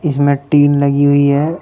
इसमें टिन लगी हुई है।